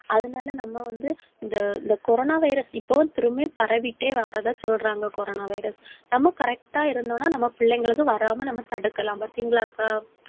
அதனால, நம்ம வந்து இந்த இந்த coronavirus இப்பவும் திரும்பவும் பரவிட்டே வர்றதா சொல்றாங்க coronavirus நம்ம correct ஆ இருந்தோம்ன்னா நம்ம பிள்ளைங்களுக்கு வராம நம்ம தடுக்கலாம் பார்த்தீங்களாக்கா?